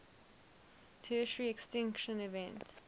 tertiary extinction event